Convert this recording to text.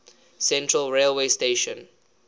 central railway station